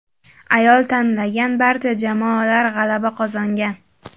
Ayol tanlagan barcha jamoalar g‘alaba qozongan.